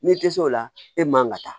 N'i tɛ se o la e man ka taa